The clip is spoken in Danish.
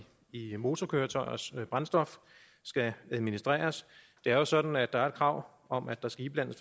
motorkøretøjers brændstof skal administreres det er jo sådan at der er et krav om at der skal indblandes